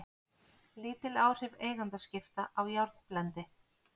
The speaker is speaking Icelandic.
Lítil áhrif eigendaskipta á járnblendi